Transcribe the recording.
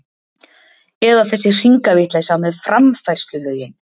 Eða þessi hringavitleysa með framfærslulögin!